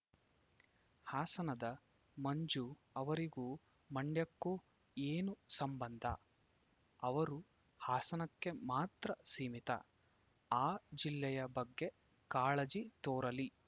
ಹಾಸನದ ಮಂಜು ಅವರಿಗೂ ಮಂಡ್ಯಕ್ಕೂ ಏನು ಸಂಬಂಧ ಅವರು ಹಾಸನಕ್ಕೆ ಮಾತ್ರ ಸೀಮಿತ ಆ ಜಿಲ್ಲೆಯ ಬಗ್ಗೆ ಕಾಳಜಿ ತೋರಲಿ